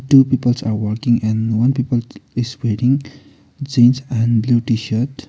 two peoles are working and one people is wearing jeans and blue tshirt.